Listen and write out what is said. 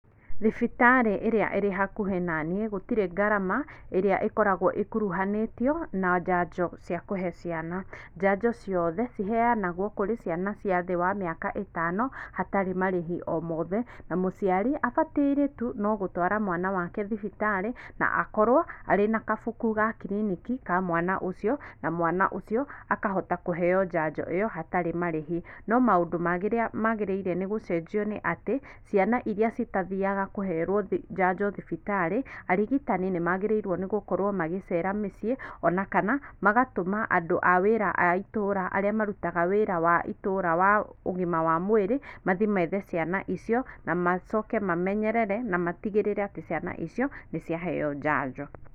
Thibitarĩ ĩrĩa ĩrĩ hakuhĩ naniĩ, gũtirĩ ngarama ĩrĩa ĩkoragwo ĩkuruhanĩtio na njanjo cia kũhe ciana. Njanjo ciothe ciheanagwo kũrĩ ciana cia thĩ wa mĩaka ĩtano hatarĩ marĩhi omothe na mũciari abataire tu no gũtwara mwana wake thibitarĩ na akorwo arĩ na kabuku ga kiriniki ka mwana ũcio na mwana ũcio akahota kũheo njanjo ĩyo hatarĩ marĩhi. No maũndũ marĩa magĩrĩire nĩ gũcenjio nĩ atĩ, ciana iria citathiaga kũherwo njanjo thibitarĩ, arigitani nĩmagĩrĩiruo nĩ gũkorwo magĩcera mĩciĩ ona kana magatũma andũ a wĩra a itũra arĩa marutaga wĩra wa itũra wa ũgima wa mwĩrĩ mathi methe ciana icio na macoke mamenyerere na matigĩrĩre atĩ ciana icio nĩciaheo njanjo.